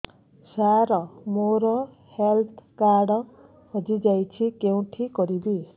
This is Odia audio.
ସାର ମୋର ହେଲ୍ଥ କାର୍ଡ ହଜି ଯାଇଛି କେଉଁଠି କରିବି